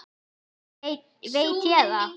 veit ég það?